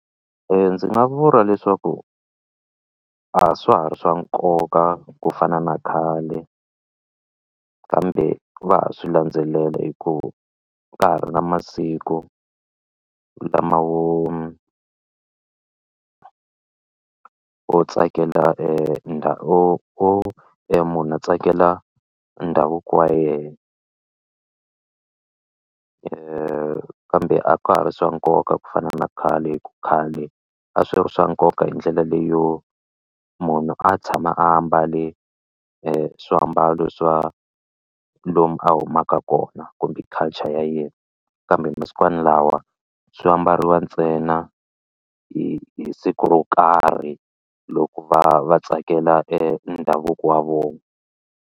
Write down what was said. Ndzi nga vula leswaku a swa ha ri swa nkoka ku fana na khale kambe va ha swi landzelela hikuva ka ha ri na masiku lama wo o tsakela munhu a tsakela ndhavuko wa yehe kambe a ka ha ri swa nkoka ku fana na khale khale a swi ri swa nkoka hi ndlela leyo munhu a tshama a ambale swiambalo swa lomu a humaka kona kumbe culture ya yena kambe masikwani lawa swi ambariwa ntsena hi hi siku ro karhi loko va va tsakela endhavuko wa vona.